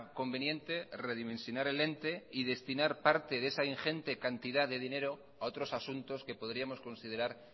conveniente redimensionar el ente y destinar parte de esa ingente cantidad de dinero a otros asuntos que podríamos considerar